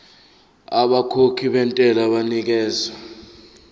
abakhokhi bentela banikezwa